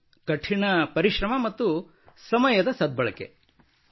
ಕಠಿಣ ಪರಿಶ್ರಮ ಮತ್ತು ಸಮಯದ ಸದ್ಬಳಕೆ hard work and proper time utilisation